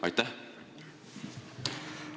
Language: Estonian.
Aitäh!